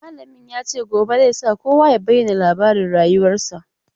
Malamin ya ce gobe zai sa kowa ya bayyana labarin rayuwarsa.